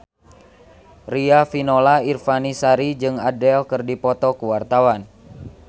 Riafinola Ifani Sari jeung Adele keur dipoto ku wartawan